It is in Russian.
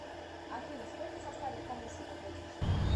афина сколько составит комиссия по платежу